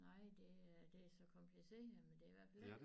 Nej det er det så kompliceret men det i hvert fald ikke